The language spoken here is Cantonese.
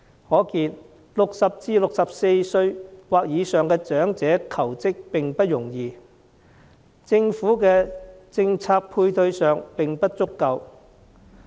可見60歲至64歲或以上的長者求職不容易，政府的政策配套並不足夠。